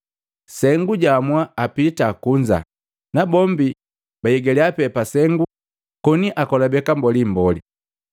Sengu jaamua apita kunza japa sengu, na bombi baigaliya pee papasengu koni akolobeka mbolimboli.